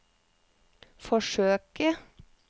forsøke